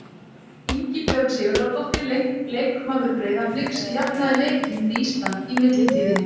Ingibjörg Sigurðardóttir, leikmaður Breiðabliks, jafnaði leikinn fyrir Ísland í millitíðinni.